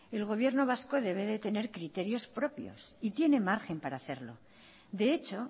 el gobierno vasco debe de tener criterios propios y tiene margen para hacerlo de hecho